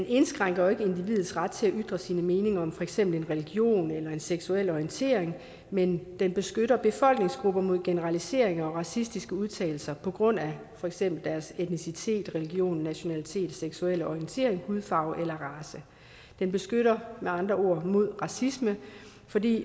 indskrænker individets ret til at ytre sine meninger om for eksempel en religion eller en seksuel orientering men den beskytter befolkningsgrupper mod generaliseringer og racistiske udtalelser på grund af for eksempel etnicitet religion nationalitet seksuel orientering hudfarve eller race den beskytter med andre ord mod racisme fordi